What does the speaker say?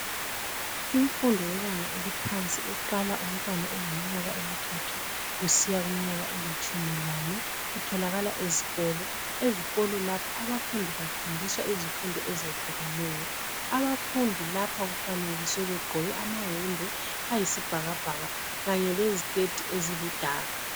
Imfundo yebanga eliphansi iqala umntwana eleminyaka emithathu kusiya kuminyaka elitshumi lane itholakala ezikolo, ezikolo lapha abafundi bafundiswa izifundo ezehlukeneyo abafundi lapha kufanekiswe begqoke amayembe ayisibhakabhaka kanye leziketi eziludaka.